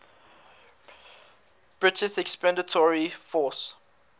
british expeditionary force